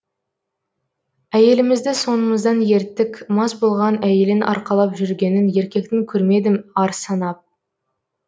әйелімізді соңымыздан ерттік мас болған әйелін арқалап жүргенін еркектің көрмедім ар санап